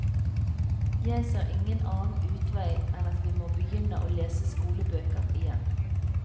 Jeg ser ingen annen utvei enn at vi må begynne å lese skolebøker igjen.